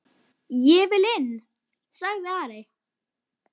Ég vil inn, sagði Ari.